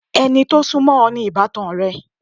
Ẹni tó sún mọ́ o ni ìbátan rẹ.